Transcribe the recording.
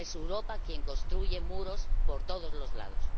Ahora es Europa quien construye muros por todos los lados.